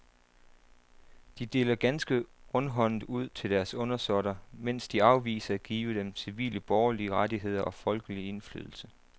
De deler ganske rundhåndet ud til deres undersåtter, mens de afviser at give dem civile borgerlige rettigheder og folkelig indflydelse.